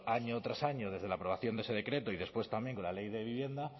año tras año desde la aprobación de ese decreto y después también con la ley de vivienda